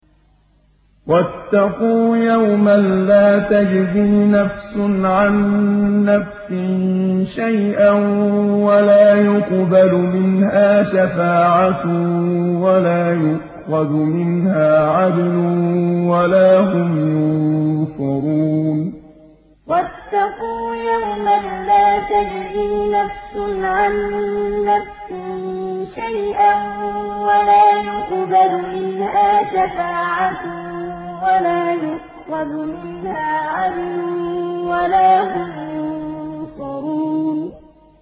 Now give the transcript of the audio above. وَاتَّقُوا يَوْمًا لَّا تَجْزِي نَفْسٌ عَن نَّفْسٍ شَيْئًا وَلَا يُقْبَلُ مِنْهَا شَفَاعَةٌ وَلَا يُؤْخَذُ مِنْهَا عَدْلٌ وَلَا هُمْ يُنصَرُونَ وَاتَّقُوا يَوْمًا لَّا تَجْزِي نَفْسٌ عَن نَّفْسٍ شَيْئًا وَلَا يُقْبَلُ مِنْهَا شَفَاعَةٌ وَلَا يُؤْخَذُ مِنْهَا عَدْلٌ وَلَا هُمْ يُنصَرُونَ